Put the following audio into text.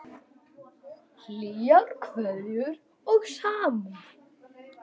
Hlýjar kveðjur og samúð.